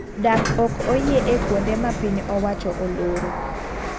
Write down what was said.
Dak ok oyie e kuonde ma piny owacho oloro